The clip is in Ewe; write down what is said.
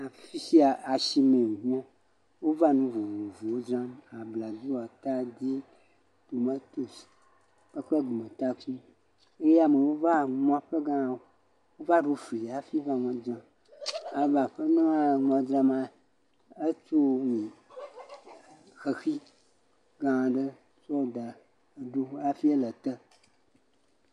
afi sia asime wonye wova nu vovovowo dzram abladzo atadi tomatosi kple gumetakui eye amewo va nua ƒlege ha va do fli hafi va nua dzim aƒenɔ ya nua dzrama etu xexi ga aɖe daɖi hafi le ete